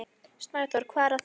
Snæþór, hvað er að frétta?